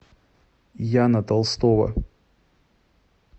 яна толстова